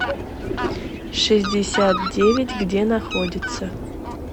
шестьдесят девять где находится